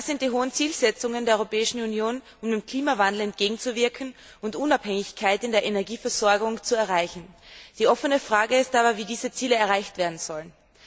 Das sind die hohen Zielsetzungen der Europäischen Union, um dem Klimawandel entgegenzuwirken und Unabhängigkeit in der Energieversorgung zu erreichen. Die offene Frage ist aber, wie diese Ziele erreicht werden sollen.